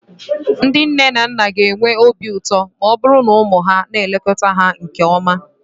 Ndị nne na nna okenye ga-enwe obi ụtọ ma ọ bụrụ na ụmụ ha na-elekọta ha nke ọma.